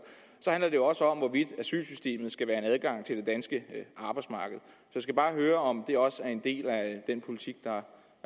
men også om hvorvidt asylsystemet skal være en adgang til det danske arbejdsmarked jeg skal bare høre om det også er en del af den politik der er